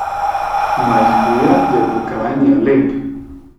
Najhuje je v pokrajini Alep.